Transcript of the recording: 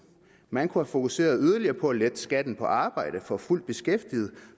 man kunne have fokuseret yderligere på at lette skatten på arbejde for fuldt beskæftigede